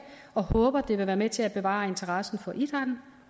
og håber at det vil være med til at bevare interessen for idrætten